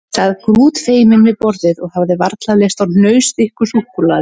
Ég sat grútfeiminn við borðið og hafði varla lyst á hnausþykku súkkulaði.